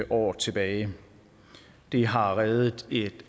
år tilbage det har reddet et